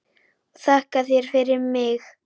Og þakka þér fyrir mig.